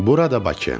Burada Bakı.